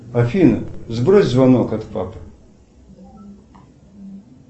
афина сбрось звонок от папы